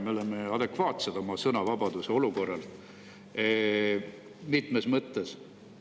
Me oma sõnavabaduse olukorrast mitmes mõttes adekvaatselt.